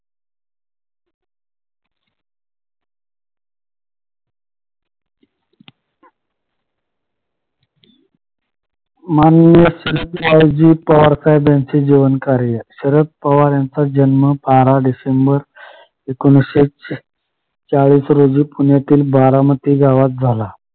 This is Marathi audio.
माननीय शरदरावजी पवारसाहेब यांची जीवनकार्य शरद पवार यांचा जन्म बारा डिसेंबर एकोणीशे चाळीस रोजी पुण्यातील बारामती गावात झाला